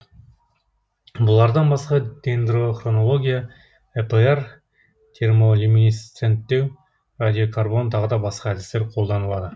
бұлардан басқа дендрохронология эпр термолюминисценттеу радиокарбон тағы да басқа әдістер қолданылады